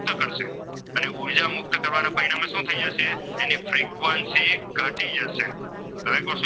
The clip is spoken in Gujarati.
તેમાંથી શું થઈ જશે તો એની ફ્રીક્વન્સી ઘટી જશે હવે,